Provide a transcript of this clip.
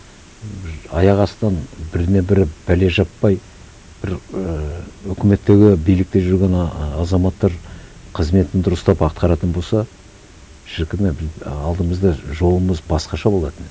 бір аяқ астынан біріне бірі бәле жаппай бір і өкіметтегі билікте жүрген ы азаматтар қызметін дұрыстап атқаратын болса шіркін ай алдымызда жолымыз басқаша болатын еді